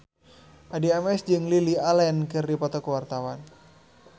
Addie MS jeung Lily Allen keur dipoto ku wartawan